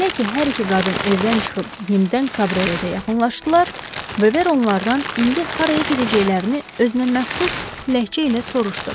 Elə ki, hər iki qadın evdən çıxıb yenidən kabrioletə yaxınlaşdılar, Veber onlardan indi haraya gedəcəklərini özünə məxsus ləhcə ilə soruşdu.